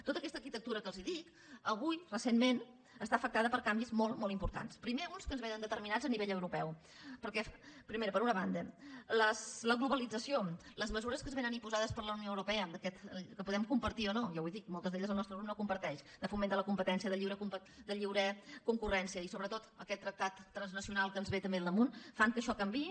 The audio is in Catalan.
tota aquesta arquitectura que els dic avui recentment està afectada per canvis molt molt importants primer uns que ens vénen determinats a nivell europeu perquè primera per una banda la globalització les mesures que ens vénen imposades per la unió europea que podem compartir o no ja ho dic moltes d’elles el nostre grup no les comparteix de foment de la competència de lliure concurrència i sobretot aquest tractat transnacional que ens ve també al damunt fan que això canviï